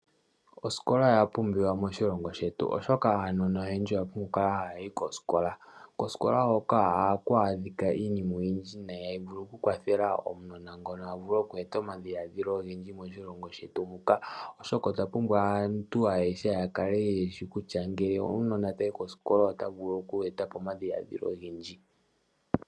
Osikola oya pumbiwa moshilongo shetu, oshoka aanona oyendji oya pumbwa oku kala haya yi kosikola. Kosikola hoka ohaku adhika iinima oyindji nayi, hayi vulu oku kwathela omunona ngono a vule oku e ta omadhiladhilo ogendji moshilongo shetu muka, oshoka otwa pumbwa aantu ayehe ya kale yeshi kutya ngele omunona tayi kosikola, ota vulu oku e ta po omadhiladhilo ogendji.